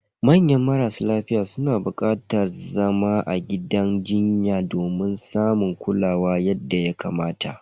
Manya marasa lafiya suna bukatar zama a gidan jinya domin samun kulawa yadda ya kamata.